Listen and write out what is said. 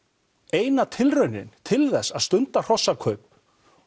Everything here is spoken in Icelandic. eina tilraunin til þess að stunda hrossakaup